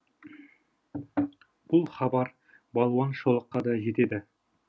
бұл хабар балуан шолаққа да жетеді